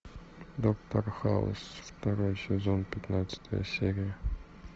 доктор хаус второй сезон пятнадцатая серия